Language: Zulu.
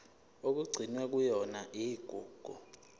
okugcinwe kuyona igugu